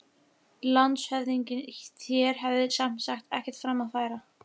LANDSHÖFÐINGI: Þér hafið sem sagt ekkert fram að færa?